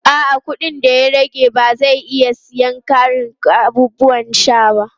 A'a, kuɗin da ya rage ba zai iya siyan ƙarin abubuwan sha ba.